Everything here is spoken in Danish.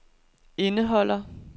indeholder